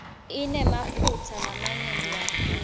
inemaphutsa lamanyenti kakhulu